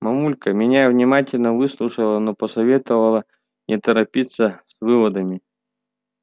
мамулька меня внимательно выслушала но посоветовала не торопиться с выводами